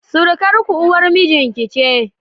Surukarku, uwar mijinki ce.